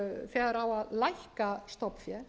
þegar á að lækka stofnfé